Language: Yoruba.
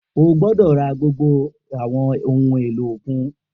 O gbọdọ ra gbogbo awọn ohun elo okun